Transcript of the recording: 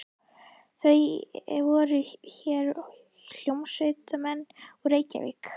Það voru hér hljómsveitarmenn úr Reykjavík.